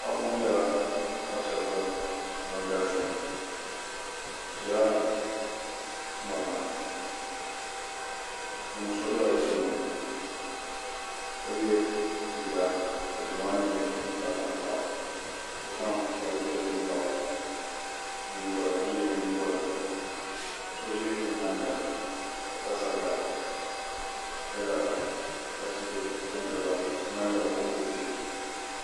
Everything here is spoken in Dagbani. paɣ' ŋɔ nyɛla paɣ' shɛbi galisi bɛ nyɛla morini be puuni so bɛla be tuuni ka yɛ liga ka liga maa nyɛ zaɣitanlkpagu ka zan baaji piɛli gaɣili n yɛ o nyɛgoli so ʒɛ o nyɛŋa ka pa sariga ka lara ka tihi pɛngiliba tihi kokoo tihi